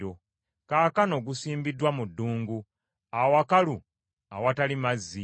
Kaakano gusimbiddwa mu ddungu, awakalu awatali mazzi.